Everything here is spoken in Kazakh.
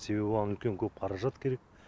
себебі оған үлкен көп қаражат керек